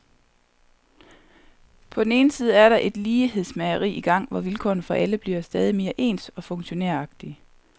På den ene side er der et lighedsmageri i gang, hvor vilkårene for alle bliver stadig mere ens og funktionæragtige.